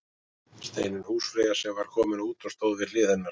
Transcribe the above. Steinunn húsfreyja sem var komin út og stóð við hlið hennar.